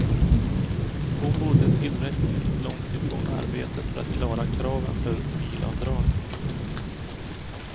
Hon bodde tillräckligt långt ifrån arbetet för att klara kraven för bilavdrag.